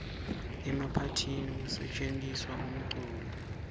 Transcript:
emaphathini kusetjentiswa umculo